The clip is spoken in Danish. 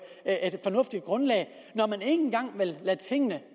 fornuftigt grundlag når man ikke engang vil lade tingene